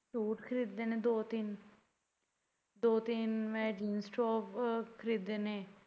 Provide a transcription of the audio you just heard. Suit ਖਰੀਦੇ ਨੇ ਦੋ ਤਿੰਨ ਦੋੋ ਤਿੰਨ jeans top ਖਰੀਦੇ ਨੇ।